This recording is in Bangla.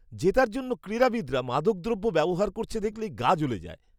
জেতার জন্য ক্রীড়াবিদরা মাদকদ্রব্য ব্যবহার করছে দেখলেই গা জ্বলে যায়।